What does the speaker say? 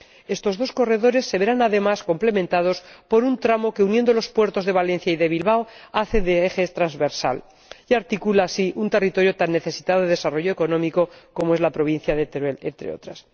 Estos dos corredores se verán además complementados por un tramo que, uniendo los puertos de Valencia y de Bilbao, hace de eje transversal y articula así un territorio tan necesitado de desarrollo económico como es la provincia de Teruel, entre otras.